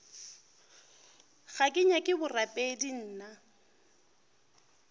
ga ke nyake borapedi nna